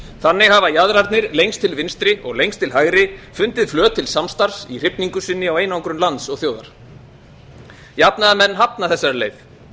þannig hafa jaðrarnir lengst til vinstri og lengst til hægri fundið flöt til samstarfs í hrifningu sinni á einangrun lands og þjóðar jafnaðarmenn hafa þessari leið